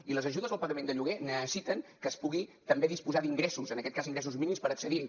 i les ajudes al pagament de lloguer necessiten que es pugui també disposar d’ingressos en aquest cas ingressos mínims per accedir hi